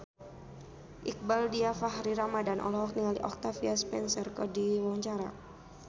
Iqbaal Dhiafakhri Ramadhan olohok ningali Octavia Spencer keur diwawancara